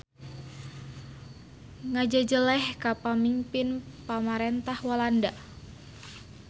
Ngajejeleh ka pamingpin pamarentah Walanda.